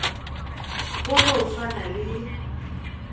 go no swana le ka